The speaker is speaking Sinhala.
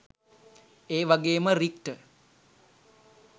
ඒවගේම රික්ට